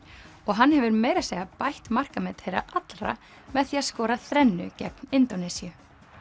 og hann hefur meira að segja bætt markamet þeirra allra með því að skora þrennu gegn Indónesíu